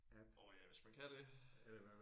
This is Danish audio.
Orh ja hvis man kan det